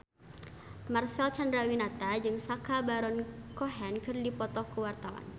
Marcel Chandrawinata jeung Sacha Baron Cohen keur dipoto ku wartawan